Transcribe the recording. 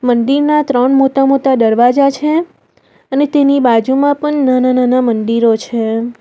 મંદિરના ત્રણ મોતા-મોતા દરવાજા છે અને તેની બાજુમાં પણ નાના-નાના મંદિરો છે.